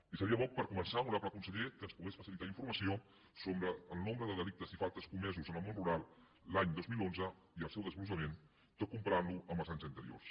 i seria bo per començar honorable conseller que ens pogués facilitar informació sobre el nombre de delictes i faltes comesos en el món rural l’any dos mil onze i el seu desglossament tot comparant lo amb els anys anteriors